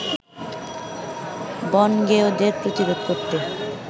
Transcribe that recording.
বনগেঁয়োদের প্রতিরোধ করতে